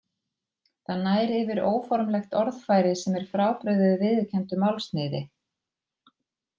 Það nær yfir óformlegt orðfæri sem er frábrugðið viðurkenndu málsniði.